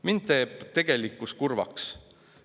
Mind teeb tegelikkus kurvaks.